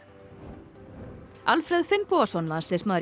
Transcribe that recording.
Alfreð Finnbogason landsliðsmaður í